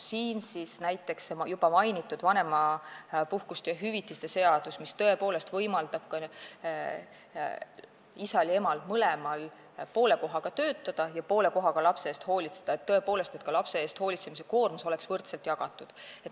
Siin on juba mainitud vanemahüvitise seadust, mis võimaldab isal ja emal mõlemal poole kohaga töötada ja poole kohaga lapse eest hoolitseda, et lapse eest hoolitsemise koormus oleks võrdselt jagatud.